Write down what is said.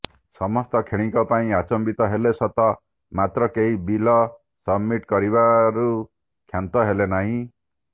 ସମସ୍ତେ କ୍ଷଣିକ ପାଇଁ ଆଚମ୍ବିତ ହେଲେ ସତ ମାତ୍ର କେହି ବିଲ ସବମିଟ କରିବାରୁ କ୍ଷାନ୍ତ ହେଲେ ନାହିଁ